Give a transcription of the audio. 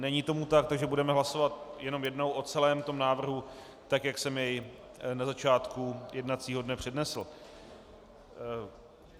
Není tomu tak, takže budeme hlasovat jenom jednou o celém tom návrhu, tak jak jsem jej na začátku jednacího dne přednesl.